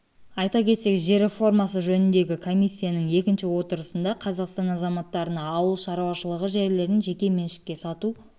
айта кетсек жер реформасы жөніндегі комиссияның екінші отырысында қазақстан азаматтарына ауыл шаруашылығы жерлерін жеке меншікке сату